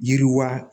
Yiriwa